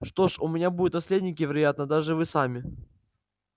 что ж у меня будут наследники вероятно даже вы сами